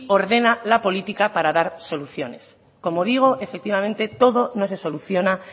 ordena la política para dar soluciones como digo efectivamente todo no se soluciona